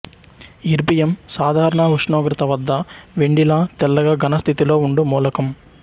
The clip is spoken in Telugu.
ఇర్బియం సాధారణ ఉష్ణోగ్రత వద్ద వెండి లా తెల్లగా ఘనస్థితిలో ఉండు మూలకం